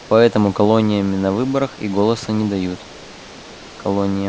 поэтому колониями на выборах и голоса не дают колониям